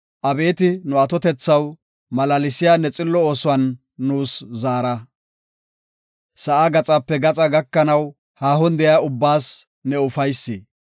Abeeti nu atotethaw, malaalsiya ne xillo oosuwan nuus zaara. Sa7aa gaxape gaxaa gakanaw, haahon de7iya ubbaas ne ufaysi.